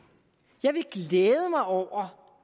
jeg vil glæde mig over